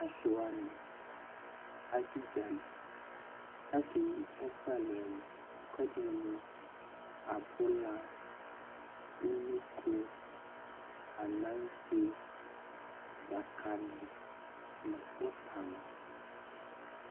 asiwani adudzali kakeyi ɛku ɛlu ɛlu ɛkuɛdini mu abula unoko ananse dzakali nu utani